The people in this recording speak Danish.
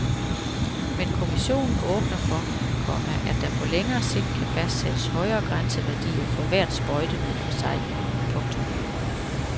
Men kommissionen åbner for, komma at der på længere sigt kan fastsættes højere grænseværdier for hvert sprøjtemiddel for sig. punktum